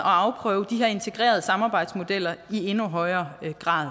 og afprøve de her integrerede samarbejdsmodeller i endnu højere grad